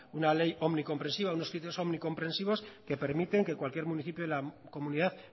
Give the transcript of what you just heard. una ley omnicomprensiva unos criterios omnicomprensivos que permiten que cualquier municipio de la comunidad